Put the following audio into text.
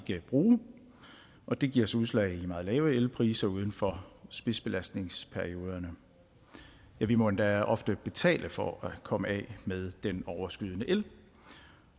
ikke bruge og det giver sig udslag i en meget lave elpriser uden for spidsbelastningsperioderne ja vi må endda ofte betale for at komme af med den overskydende el